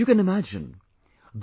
You can imagine...